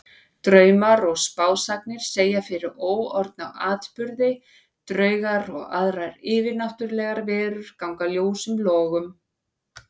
Draumar og spásagnir segja fyrir óorðna atburði, draugar og aðrar yfirnáttúrlegar verur ganga ljósum logum.